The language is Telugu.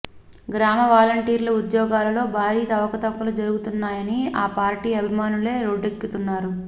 గ్రామ వాలంటీర్ల ఉద్యోగాలలో భారీ అవకతవకలు జరుగుతున్నాయని ఆ పార్టీ అభిమానులే రోడ్డెక్కుతున్నారు